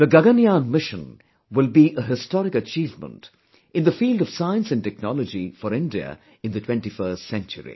Gaganyaan mission will be a historic achievement in the field of science and technology for India in the 21st century